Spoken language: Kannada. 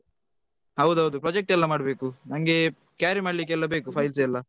ಹೌದೌದು project ಎಲ್ಲ ಮಾಡ್ಬೇಕು ನಂಗೆ carry ಮಾಡ್ಲಿಕ್ಕೆಲ್ಲ ಬೇಕು files ಎಲ್ಲ.